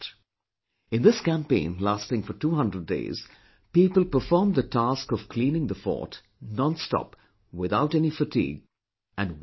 In this campaign lasting for two hundred days, people performed the task of cleaning the fort, nonstop, without any fatigue and with teamwork